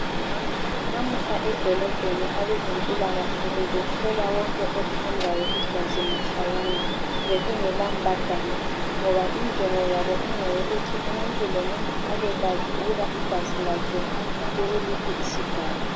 Namuhla edolobheni abezempilakahle bebehlola wonke othandayo igazi mahlayana, bekungela mbadalo ngoba injongo yabo ingeyokuthi umuntu lomuntu abekwazi ukuthi igazi lakhe likuliphi isigaba.